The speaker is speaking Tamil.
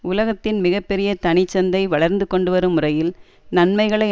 உலகத்தின் மிக பெரிய தனி சந்தை வளர்ந்து கொண்டுவரும் முறையில் நன்மைகளை